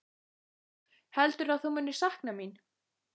Heldurðu að þú munir sakna mín?